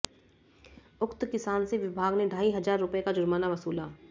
उक्त किसान से विभाग ने ढाई हजार रुपये का जुर्माना वसूला